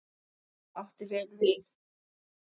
Það átti vel við.